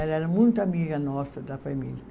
Ela era muito amiga nossa da família.